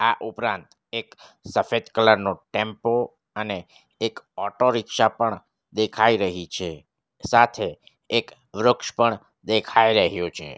આ ઉપરાંત એક સફેદ કલર નો ટેમ્પો અને એક ઓટો રીક્ષા પણ દેખાઈ રહી છે સાથે એક વૃક્ષ પણ દેખાઈ રહ્યું છે.